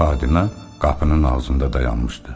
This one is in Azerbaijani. Xadimə qapının ağzında dayanmışdı.